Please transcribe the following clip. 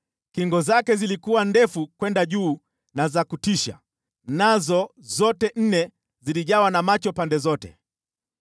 Kingo zake zilikuwa ndefu kwenda juu na za kutisha, nazo zote nne zilijawa na macho pande zote.